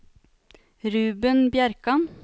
Ruben Bjerkan